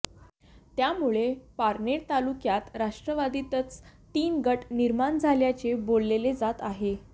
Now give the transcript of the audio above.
त्यामुळे पारनेर तालुक्यात राष्ट्रवादीतच तीन गट निर्माण झाल्याचे बोलले जात आहे